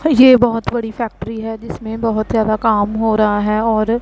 अ ये बहोत बड़ी फैक्ट्री है जिसमें बहोत ज्यादा काम हो रहा है और--